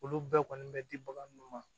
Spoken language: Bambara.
Olu bɛɛ kɔni bɛ di bagan mun ma